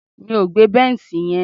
Mi ò gbé bẹ́nṣì yẹn.